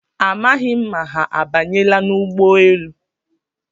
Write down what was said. Amaghị m ma ha abanyela n'ụgbọelu